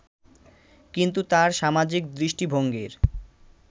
কিন্তু তাঁর সামাজিক দৃষ্টিভঙ্গির